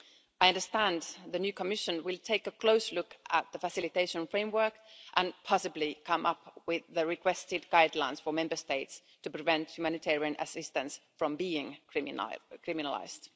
I understand the new Commission will take a close look at the facilitation framework and possibly come up with the requested guidelines for Member States to prevent humanitarian assistance from being criminalised.